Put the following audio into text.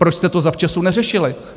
Proč jste to zavčasu neřešili?